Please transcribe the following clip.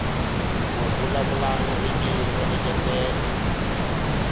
ku vulavula ririmi ro engetela